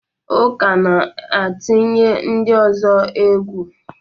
Uka na-atụnye ndị ọzọ egwu.